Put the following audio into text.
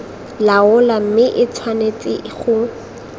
laola mme e tshwanetse go